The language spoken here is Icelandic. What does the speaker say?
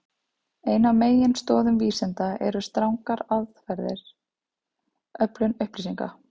Ein af meginstoðum vísinda eru strangar aðferðir við öflun upplýsinga.